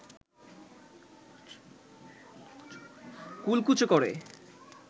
কুলকুচো করে